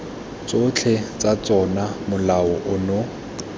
tsotlhe tsa tsona molao ono